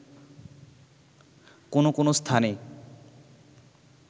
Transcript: কোন কোন স্থানে